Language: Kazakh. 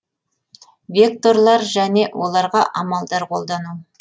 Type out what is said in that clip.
векторлар және оларға амалдар қолдану